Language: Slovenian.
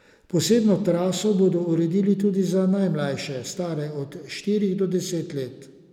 Posebno traso bodo uredili tudi za najmlajše, stare od štirih do deset let.